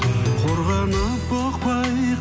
қорғанып бұқпай